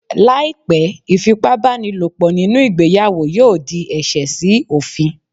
Láì pé, ìfipá bá ni lò pọ̀ nínú ìgbéyàwó yóò di ẹ̀ṣẹ̀ sí òfin.